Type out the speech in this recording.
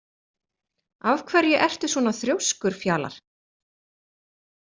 Af hverju ertu svona þrjóskur, Fjalar?